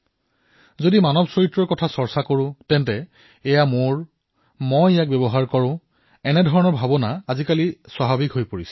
যদি মানৱপ্ৰকৃতিৰ চৰ্চা কৰা হয় তেন্তে এয়া মোৰ হয় মই ইয়াৰ প্ৰয়োগ কৰো ইয়াক আৰু এই ভাৱনা অতিশয় স্বাভাৱিক যেন লাগে